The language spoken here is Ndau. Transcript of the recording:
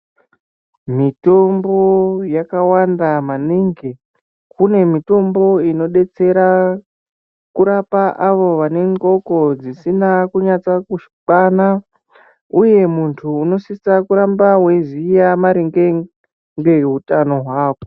Mitombo yakawanda maningi kune mitombo inodetsera kurapa avo vanenge vari vadoko dzisina akunyaso kukwana uye muntu unosisa kuramba weiziya maringe ngehutano hwako.